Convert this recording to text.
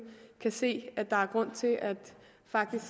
kan se at der faktisk er grund til at